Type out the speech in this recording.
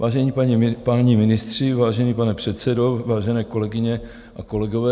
Vážení páni ministři, vážený pane předsedo, vážené kolegyně a kolegové.